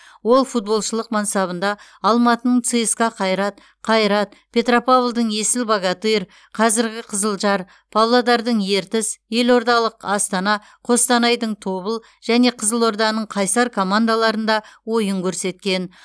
ол футболшылық мансабында алматының цска қайрат қайрат петропавлдың есіл богатырь қазіргі қызылжар павлодардың ертіс елордалық астана қостанайдың тобыл және қызылорданың қайсар командаларында ойын көрсеткен